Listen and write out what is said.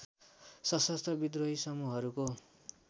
सशस्त्र विद्रोही समूहहरूको